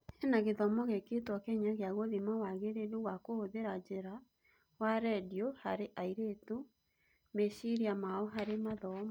Hena gĩthomo gĩkĩĩtwo Kenya gĩa gũthima wagĩrĩru wa kũhũthĩra njĩra wa rendio harĩ airĩtu' meciiria mao harĩ mathomo